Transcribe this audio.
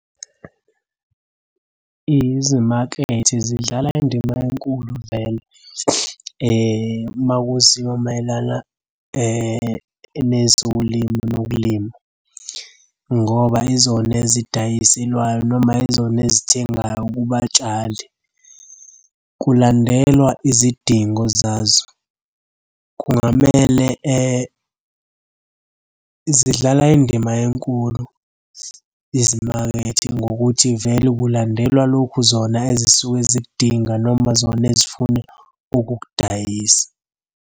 Izimakethe zidlala indima enkulu vele uma kuziwa mayelana nezolimo nokulima, ngoba yizona ezidayiselwayo noma yizona ezithengayo kubatshali. Kulandelwa izidingo zazo, kungamele zidlala indima enkulu izimakethe ngokuthi vele kulandelwa lokhu zona ezisuke zikudinga noma zona ezifuna ukukudayisa.